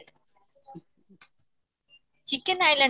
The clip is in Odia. chicken iland